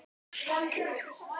Lítum til vors lands.